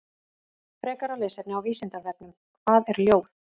Frekara lesefni á Vísindavefnum: Hvað er ljóð?